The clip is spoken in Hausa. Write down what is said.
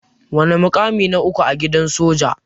Wana mukamin na uku a gidan soja?